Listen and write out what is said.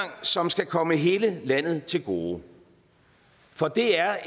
som skal komme hele landet til gode for det er